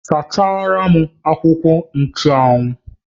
Sachara m akwụkwọ nchụ́anwu!